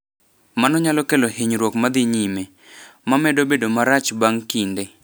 Mano nyalo kelo hinyruok ma dhi nyime (ma medo bedo marach bang’ kinde).